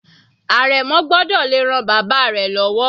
Àrẹ̀mọ gbọ́dọ̀ le ran bàbá rẹ̀ lọ́wọ́.